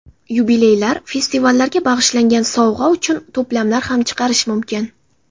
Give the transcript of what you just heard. Yubileylar, festivallarga bag‘ishlangan, sovg‘a uchun to‘plamlar ham chiqarish mumkin.